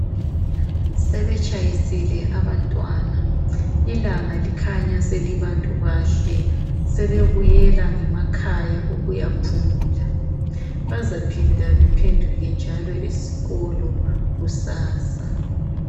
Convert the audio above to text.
Sebetshayisile abantwana ilanga likhanya selibantu bahle . Sebebuyela ngemakhaya ukuya phumula .Bazaphinda bephenduke njalo esikolo kusasa .